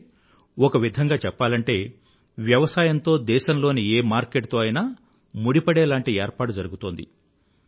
అంటే ఒక విధంగా చెప్పాలంటే వ్యవసాయం తో దేశంలోని ఏ మార్కెట్ తో అయినా ముడిపడేలాంటి ఏర్పాటు జరుగుతోంది